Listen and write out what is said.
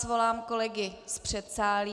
Svolám kolegy z předsálí.